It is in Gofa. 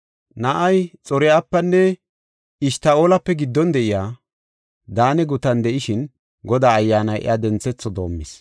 Na7ay Xor7afenne Eshta7oolape giddon de7iya Daane gutan de7ishin Godaa Ayyaanay iya denthetho doomis.